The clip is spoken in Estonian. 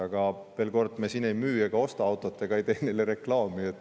Aga veel kord, me siin ei müü ega osta autot ega ei tee neile reklaami.